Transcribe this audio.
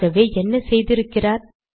ஆகவே என்ன செய்திருக்கிறார்